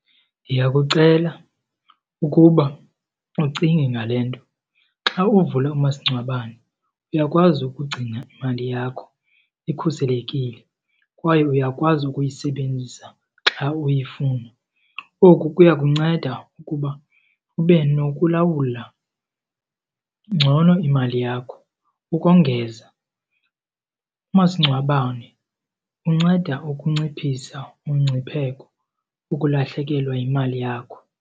Ndiyakucela ukuba ucinge ngale nto. Xa uvule umasingcwabane uyakwazi ukugcina imali yakho ikhuselekile kwaye uyakwazi ukuyisebenzisa xa uyifuna. Oku kuya kunceda ukuba ube nokulawula ngcono imali yakho. Ukongeza, umasingcwabane unceda ukunciphisa umngcipheko ukulahlekelwa yimali yakho.